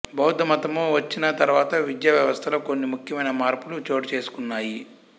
బౌద్దమతము వచ్చిన తరువాత విద్యావ్యవస్థలో కొన్ని ముఖ్యమైన మార్పులు చోటుచేసుకున్నాయి